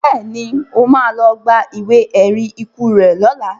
Bẹ́ẹ̀ni, mo má lọ gba ìwé ẹ̀rí ikú rẹ lọla